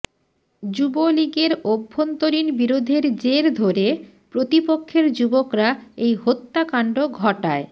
যুবলীগের অভ্যন্তরীণ বিরোধের জের ধরে প্রতিপক্ষের যুবকরা এই হত্যাকাণ্ড ঘটায়